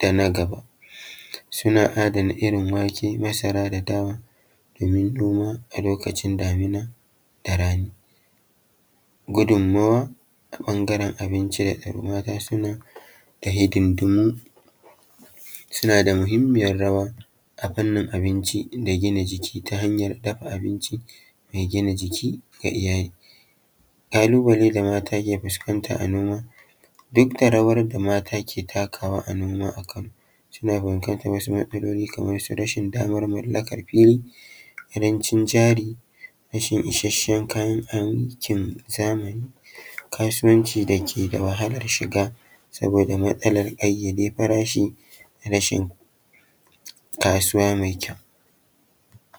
da na gaba, suna adana irin wake, masara da dawa domin noma a lokacin damina da rani. Gudummawa a ɓangaren abinci, mata suna da hidindimu suna da mahimmiyar rawa a fannin abinci da gina jiki, ta hanyar dafa abinci mai gina jiki ga iyali. Ƙalubale da mata ke fuskanta a noma; Duk da rawar da mata ke takawa a noma a Kano suna fuskantar wasu matsaloli kamar su rashin damar mallakar fili, ƙarancin jari, rashin ishasshen kayan aikin zamani, kasuwanci dake da wahalar shiga saboda matsalar ƙayyade farashi, rashin kasuwa mai kyau.